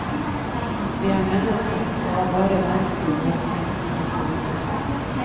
Vi er mennesker, og har bare menneskelige holdninger, ingen politiske.